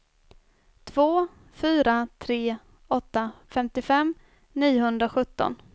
två fyra tre åtta femtiofem niohundrasjutton